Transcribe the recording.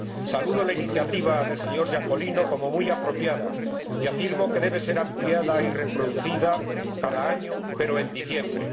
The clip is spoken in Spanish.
Saludo la iniciativa del señor Iacolino como muy apropiada y afirmo que debe ser ampliada y reproducida cada año, pero en diciembre.